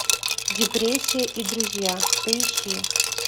депрессия и друзья поищи